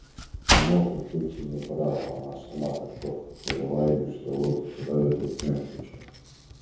а может быть и не брала она сама так ловко повела ими что его руки оказались вдруг на её плечах